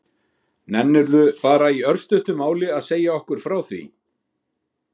Nennirðu bara í örstuttu máli að segja okkur frá því?